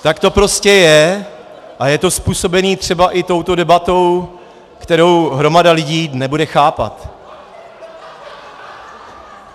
Tak to prostě je a je to způsobeno třeba i touto debatou, kterou hromada lidí nebude chápat.